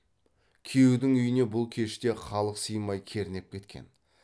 күйеудің үйіне бұл кеште халық сыймай кернеп кеткен